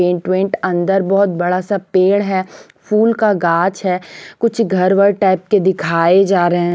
Paint वेंट अन्दर बहुत बड़ा सा पेड़ है फूल का गाछ है कुछ घर वर टाइप के दिखाये जा रहा है।